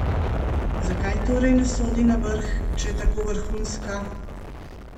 Zakaj torej ne sodi na vrh, če je tako vrhunska?